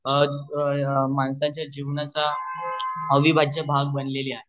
अ अ माणसाच्या जीवनाच्या अविभाज्य भाग बनलेली आहे